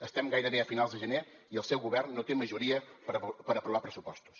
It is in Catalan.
estem gairebé a finals de gener i el seu govern no té majoria per aprovar pressupostos